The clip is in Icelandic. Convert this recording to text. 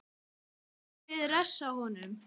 Munum við refsa honum?